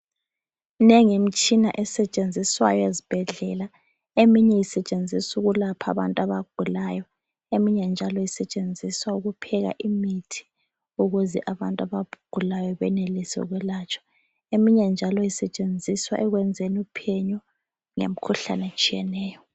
Minengi imitshina esetshenziswa ezibhedlela ,eminye usetshenziswa ukwelapha abantu abagulayo ,eminye njalo usetshenziswa ukupheka imithi ukuze abantu abagulayo benelise ukulatshwa , eminye njalo isitshenziswa ekwenzeni uphenyo ngemikhuhlane etshiyeneyo.